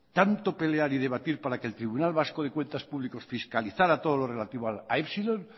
tanto pelear y debatir para que el tribunal vasco de cuentas públicas fiscalizara todo lo relativo a epsilon